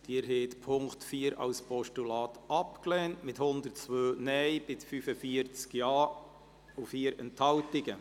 Sie haben den Punkt 4 als Postulat abgelehnt, mit 102 Nein- bei 45 Ja-Stimmen und 4 Enthaltungen.